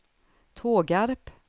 Tågarp